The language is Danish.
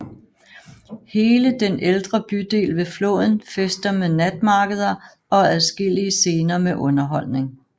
Hele den ældre bydel ved floden fester med natmarkeder og adskillige scener med underholdning